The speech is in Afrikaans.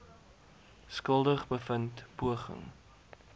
skuldig bevind poging